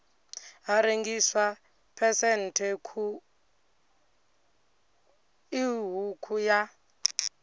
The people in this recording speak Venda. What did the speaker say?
ha rengiswa phesenthe ṱhukhu ya